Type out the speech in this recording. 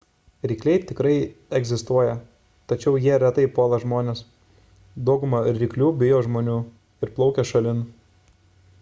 rykliai tikrai egzistuoja tačiau jie retai puola žmones dauguma ryklių bijo žmonių ir plaukia šalin